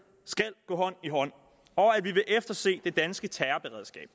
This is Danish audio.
skal gå hånd i hånd og at vi vil efterse det danske terrorberedskab